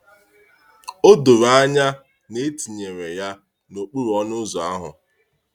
“O doro anya na e tinyere ya n’okpuru ọnụ ụzọ ahụ.”